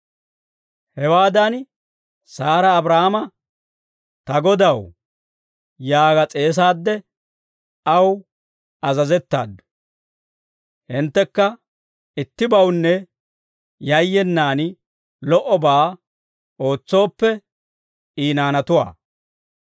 Hewaadan Saara Abraahaama, «Ta godaw» yaaga s'eesaadde, aw azazettaaddu; hinttekka ittibawunne yayyenaan lo"obaa ootsooppe, I naanatuwaa.